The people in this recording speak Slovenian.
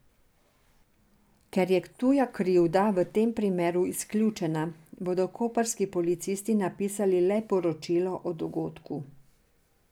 Ker je tuja krivda v tem primeru izključena, bodo koprski policisti napisali le poročilo o dogodku.